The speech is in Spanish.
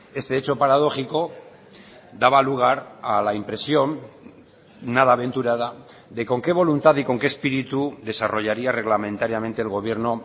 este hecho paradójico daba lugar a la impresión nada aventurada de con qué voluntad y con qué espíritu desarrollaría reglamentariamente el gobierno